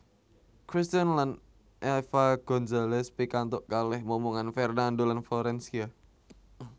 Cristian lan Eva Gonzales pikantuk kalih momongan Fernando lan Florencia